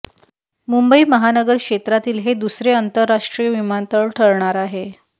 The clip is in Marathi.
मुंबई महानगर क्षेत्रातील हे दुसरे अंतरराष्ट्रीय विमानतळ ठरणार आहे